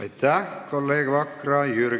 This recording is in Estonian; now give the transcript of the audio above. Aitäh, kolleeg Vakra!